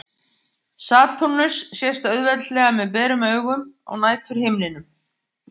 Satúrnus sést auðveldlega með berum augum á næturhimninum.